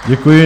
Děkuji.